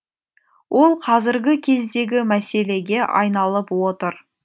ол қазіргі кездегі мәселеге айналып отыр